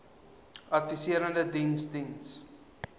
adviserende diens diens